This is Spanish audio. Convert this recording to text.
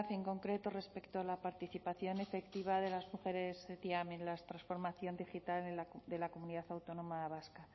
en concreto respecto a la participación efectiva de las mujeres ctiam en la transformación digital de la comunidad autónoma vasca